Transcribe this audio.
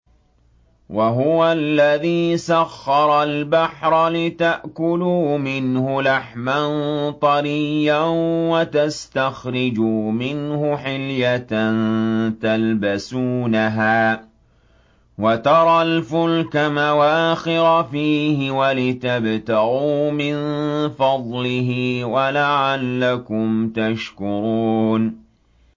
وَهُوَ الَّذِي سَخَّرَ الْبَحْرَ لِتَأْكُلُوا مِنْهُ لَحْمًا طَرِيًّا وَتَسْتَخْرِجُوا مِنْهُ حِلْيَةً تَلْبَسُونَهَا وَتَرَى الْفُلْكَ مَوَاخِرَ فِيهِ وَلِتَبْتَغُوا مِن فَضْلِهِ وَلَعَلَّكُمْ تَشْكُرُونَ